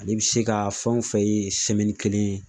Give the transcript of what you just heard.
Ale bi se ka fɛn o fɛn ye kelen ye